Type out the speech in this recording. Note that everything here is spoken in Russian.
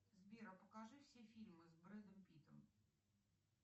сбер а покажи все фильмы с брэдом питтом